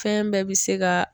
Fɛn bɛɛ bi se ga